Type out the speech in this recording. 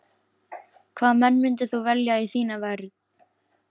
Hvaða menn myndir þú velja í þína vörn?